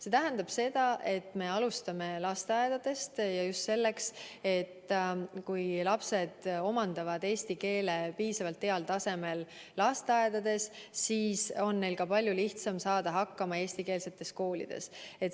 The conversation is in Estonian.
See tähendab seda, et me alustame lasteaedadest, ja just selleks, et kui lapsed omandavad lasteaias eesti keele piisavalt heal tasemel, siis on neil palju lihtsam saada hakkama eestikeelses koolis.